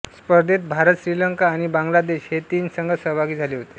स्पर्धेत भारत श्रीलंका आणि बांगलादेश हे तीन संघ सहभागी झाले होते